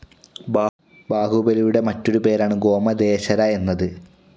ബാഹുബലിയുടെ മറ്റൊരു പേരാണ് ഗോമതേശ്വര എന്നത്.